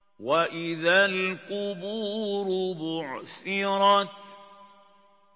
وَإِذَا الْقُبُورُ بُعْثِرَتْ